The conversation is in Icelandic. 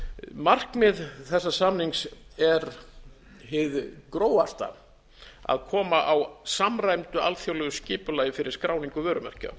markmið þessa samnings er hið grófasta að koma á samræmdu alþjóðlegu skipulagi fyrir skráningu vörumerkja